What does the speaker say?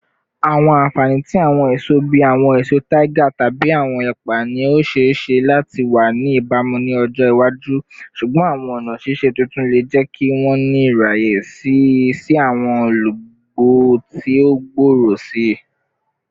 Awọn anfani ti awọn eso bii awọn eso tiger tabi awọn ẹpa ni o ṣee ṣe lati wa ni ibamu ni ọjọ iwaju, ṣugbọn awọn ọna ṣiṣe tuntun le jẹ ki wọn ni iraye si si awọn olugbo ti o gbooro sii.